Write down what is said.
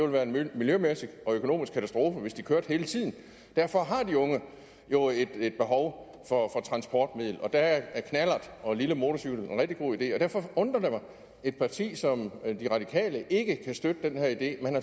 være en miljømæssig og økonomisk katastrofe hvis de kørte hele tiden derfor har de unge jo et behov for at have et transportmiddel og der er knallert og lille motorcykel en rigtig god idé og derfor undrer det mig at et parti som radikale venstre ikke kan støtte den her idé